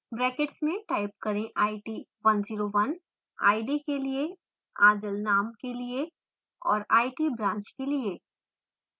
brackets में type करें it101 id के लिए adil name के लिए और it branch के लिए